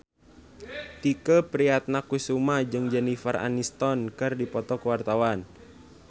Tike Priatnakusuma jeung Jennifer Aniston keur dipoto ku wartawan